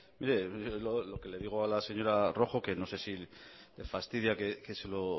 mire lo que le digo a la señora rojo que no sé si le fastidia que se lo